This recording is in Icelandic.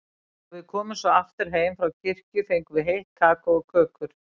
Þegar við komum svo aftur heim frá kirkju fengum við heitt kakó og kökur.